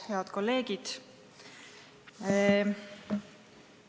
Head kolleegid!